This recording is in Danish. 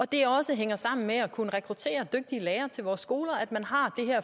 det også hænger sammen med at kunne rekruttere dygtige lærere til vores skoler at man har